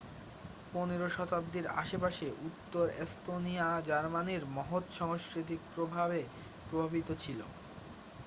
পনেরো শতাব্দীর আশেপাশে উত্তর এস্তোনিয়া জার্মানির মহৎ সাংস্কৃতিক প্রভাবে প্রভাবিত ছিল